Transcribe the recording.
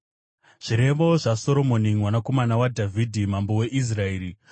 Zvirevo zvaSoromoni mwanakomana waDhavhidhi, mambo weIsraeri: